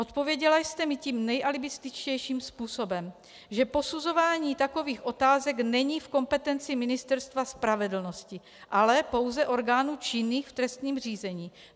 Odpověděla jste mi tím nejalibističtějším způsobem, že posuzování takových otázek není v kompetenci Ministerstva spravedlnosti, ale pouze orgánů činných v trestním řízení.